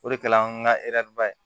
O de kɛla an ka ba ye